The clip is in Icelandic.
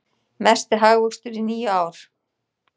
Mesti hagvöxtur í níu ár